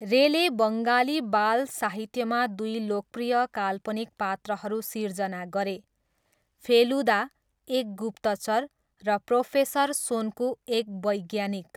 रेले बङ्गाली बाल साहित्यमा दुई लोकप्रिय काल्पनिक पात्रहरू सिर्जना गरे, फेलुदा, एक गुप्तचर, र प्रोफेसर सोन्कु, एक वैज्ञानिक।